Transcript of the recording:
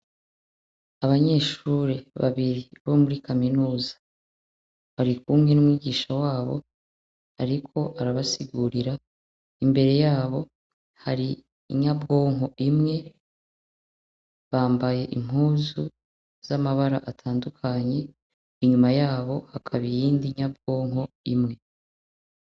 Abanyeshure babiri bo muri kamenuza bari kumwe n'umwigisha wabo ariko arabasigurira, imbere yabo hari inyabwonko imwe, bambaye impuzu z'amabara atandukanye, inyuma yabo hakaba iyindi nyabwonko imwe .